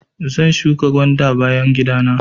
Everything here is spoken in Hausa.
Zan shuƙa gwanda a bayan gidan mu.